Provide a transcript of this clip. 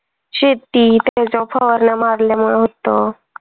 शेती, त्याच्यावर फवारण्या मारल्यामुळे होतं